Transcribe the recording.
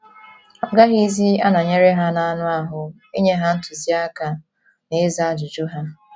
Ọ gaghịzi anọnyere ha n’anụ ahụ́ inye ha ntụziaka na ịza ajụjụ ha.